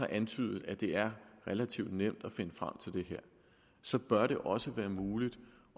antydet at det er relativt nemt at finde frem til det så bør det også være muligt